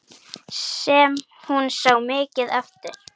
Sem hún sá mikið eftir.